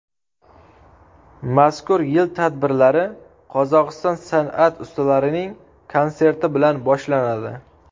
Mazkur yil tadbirlari Qozog‘iston san’at ustalarining konserti bilan boshlanadi.